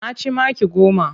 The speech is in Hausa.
Na ci maki goma.